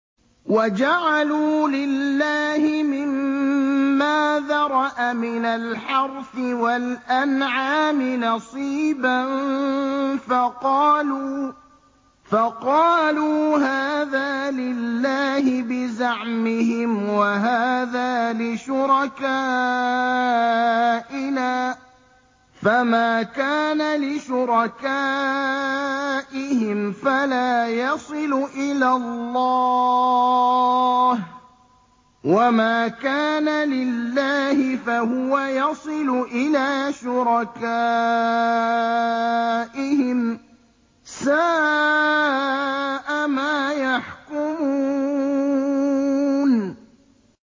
وَجَعَلُوا لِلَّهِ مِمَّا ذَرَأَ مِنَ الْحَرْثِ وَالْأَنْعَامِ نَصِيبًا فَقَالُوا هَٰذَا لِلَّهِ بِزَعْمِهِمْ وَهَٰذَا لِشُرَكَائِنَا ۖ فَمَا كَانَ لِشُرَكَائِهِمْ فَلَا يَصِلُ إِلَى اللَّهِ ۖ وَمَا كَانَ لِلَّهِ فَهُوَ يَصِلُ إِلَىٰ شُرَكَائِهِمْ ۗ سَاءَ مَا يَحْكُمُونَ